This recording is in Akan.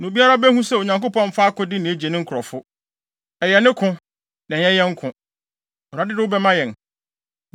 Na obiara behu sɛ, Onyankopɔn mfa akode na egye ne nkurɔfo. Ɛyɛ ne ko, na ɛnyɛ yɛn ko. Awurade de wo bɛma yɛn!”